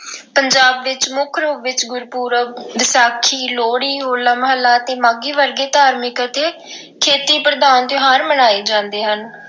ਪੰਜਾਬ ਵਿੱਚ ਮੁੱਖ ਰੂਪ ਵਿੱਚ ਗੁਰਪੁਰਬ, ਵਿਸਾਖੀ, ਲੋਹੜੀ, ਹੋਲਾ-ਮਹੱਲਾ ਅਤੇ ਮਾਘੀ ਵਰਗੇ ਧਾਰਮਿਕ ਅਤੇ ਖੇਤੀ ਪ੍ਰਧਾਨ ਤਿਉਹਾਰ ਮਨਾਏ ਜਾਂਦੇ ਹਨ।